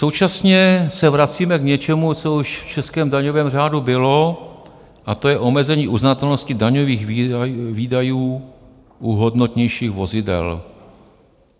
Současně se vracíme k něčemu, co už v českém daňovém řádu bylo, a to je omezení uznatelnosti daňových výdajů u hodnotnějších vozidel.